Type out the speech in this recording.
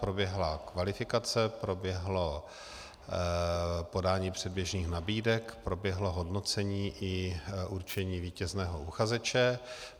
Proběhla kvalifikace, proběhlo podání předběžných nabídek, proběhlo hodnocení i určení vítězného uchazeče.